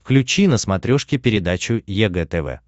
включи на смотрешке передачу егэ тв